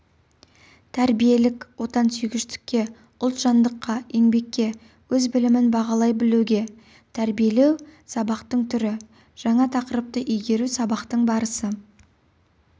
тәрбиелік отансүйгіштікке ұлтжандылыққа еңбекке өз білімін бағалай білуге тәрбиелеу сабақтың түрі жаңа тақырыпты игеру сабақтың барысы